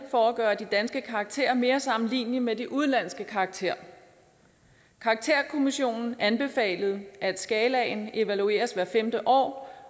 for at gøre de danske karakterer mere sammenlignelige med de udenlandske karakterer karakterkommissionen anbefalede at skalaen evalueres hvert femte år